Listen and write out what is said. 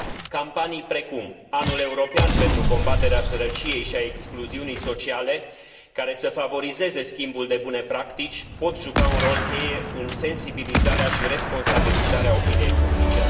Campanii precum Anul european pentru combaterea sărăciei și a excluziunii sociale, care să favorizeze schimbul de bune practici, pot juca un rol cheie în sensibilizarea și responsabilizarea opiniei publice.